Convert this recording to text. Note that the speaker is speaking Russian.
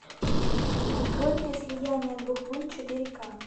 открой мне слияние двух лун четыре ка